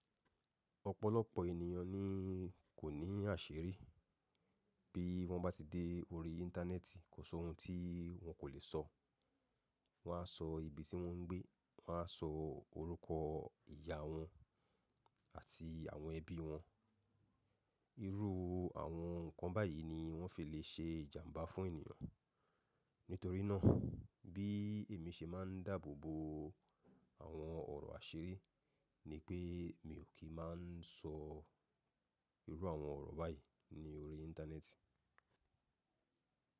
Ọ̀pọ̀lọpọ̀ ènìyàn ni kò ní àṣírí bí wọ́n bá ti dé orí íńtánẹ́ẹ̀tì, kò sọ ohun tí wọn kò lè sọ. Wọ́n á sọ ibi tí wọ́n ń gbé, wọ́n á sọ orúkọ ìyá wọn àti àwọn ẹbí wọn. Irú àwọn ǹkan báyìí ni wọ́n fi lè ṣe ìjàmbá fún ènìyàn. Nítorí náà bí èmi ṣe máa n dábòbo àwọn ọ̀rọ̀ àṣírí ni pé mi ò kí máa sọ irú àwọn ọ̀rọ̀ báyìí ní orí íńtánẹ́ẹ̀tì.